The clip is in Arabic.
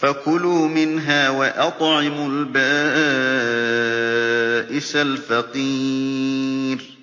فَكُلُوا مِنْهَا وَأَطْعِمُوا الْبَائِسَ الْفَقِيرَ